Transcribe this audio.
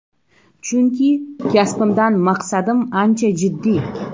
Chunki kasbimdan maqsadim ancha jiddiy.